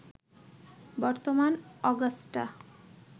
বর্তমান অগাস্টা